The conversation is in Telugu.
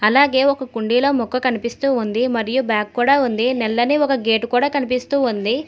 అలాగే ఒక కుండీలో మొక్క కనిపిస్తూ ఉంది మరియు బ్యాగ్ కూడా ఉంది నల్లని ఒక గేటు కూడా కనిపిస్తూ ఉంది.